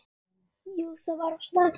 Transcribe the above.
Jú það var of snemmt.